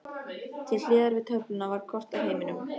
Til hliðar við töfluna var kort af heiminum.